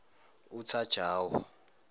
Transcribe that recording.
uthajawo